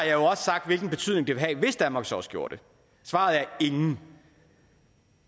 jo også sagt hvilken betydning det ville have hvis danmark så også gjorde det svaret er ingen